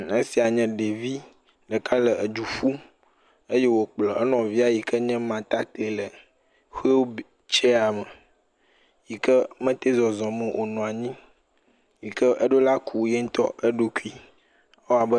Esia nye ɖevi ɖeka le edu ƒum eye wokplɔ enɔvia yike nye ma ɖa yi ke le wheel chaya me yike mete zɔzɔm o. wonɔ anyiu yike eƒola ku yeŋtɔ eɖokui.